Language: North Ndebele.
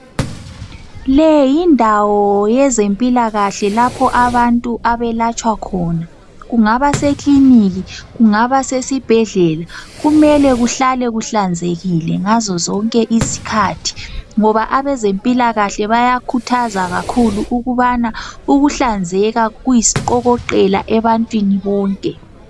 Leyindawo yezempilakahle lapho abantu abelatshwa khona, kungaba seklinika, kungaba sesibhedlela kumele kuhlale kuhlanzekile ngazozonke izkhathi ngoba abezempilakahle bayakhuthaza kakhulu ukubana ukuhlanzeka kuyisiqokoqela ebantwini bonke.